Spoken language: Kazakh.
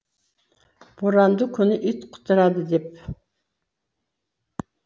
боранды күні ит құтырады деп